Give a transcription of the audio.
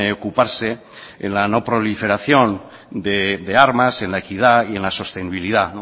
ocuparse en la no proliferación de armas en la equidad y en la sostenibilidad